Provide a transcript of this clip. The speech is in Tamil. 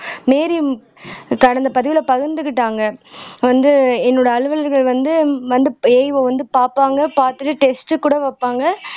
மேரி கடந்த பதிவுல பகிர்ந்துகிட்டாங்க வந்து என்னோட அலுவலர்கள் வந்து வந்து AEO வை வந்து பாப்பாங்க பாத்துட்டு டெஸ்ட்கூட வைப்பாங்க